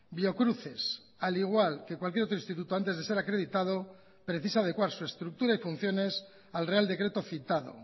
biocruces al igual que cualquier otro instituto antes de ser acreditado precisa adecuar su estructura y funciones al real decreto citado